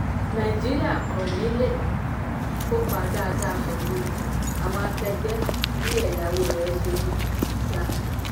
naijiria kọ́ni lè um kopa dáàda pelu àwọn ákẹgbẹ bí ẹ̀yáwó rẹ ṣe um ń ń ga.